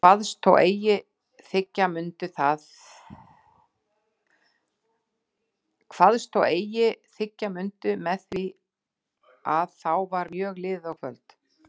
Kvaðst þó eigi þiggja mundu með því að þá var mjög liðið á kvöld.